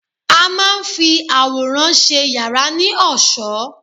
A máa ń fi àwòrán ṣe yàrá ní ọ̀ṣọ́